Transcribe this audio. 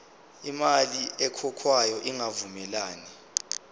imali ekhokhwayo ingavumelani